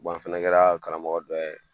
an fɛnɛ kɛraa karamɔgɔ dɔ ye